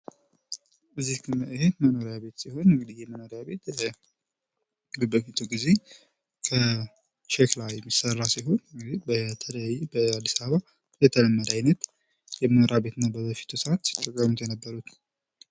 ይህ መኖሪያ ቤት ሲሆን ይህ መኖሪያ ቤት በጥንቱ ጊዜ ከሸክላ የሚሰራ ሲሆን በተለይ በአዲስ አበባ የተለመደ አይነት የመኖሪያ ቤት ነው። በበፊቱ ሰአት ሲጠቀሙ የነበሩት።